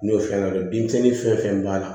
N'o fɛn na denmisɛnnin fɛn fɛn b'a la